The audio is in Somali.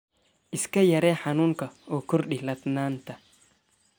Iska yaree xanuunka oo Kordhi ladnaanta.